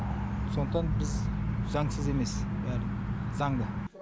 сондықтан біз заңсыз емес бәрі заңды